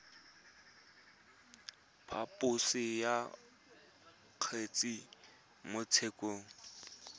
phaposo ya kgetse mo tshekong